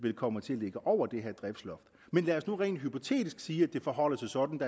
kommer til at ligge over det her prisloft men lad os nu rent hypotetisk sige at det forholder sig sådan